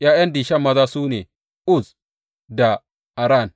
’Ya’yan Dishan maza su ne, Uz da Aran.